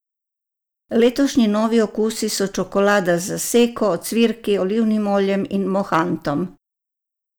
Letošnji novi okusi so čokolada z zaseko, ocvirki, olivnim oljem in mohantom.